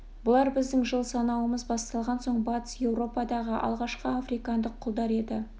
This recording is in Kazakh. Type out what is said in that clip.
бұлар біздің жыл санауымыз басталған соң батыс европадағы алғашқы африкандық құлдар еді